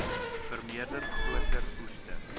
vermeerder groter oeste